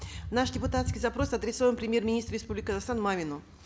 наш депутатский запрос адресован премьер министру республики казахстан мамину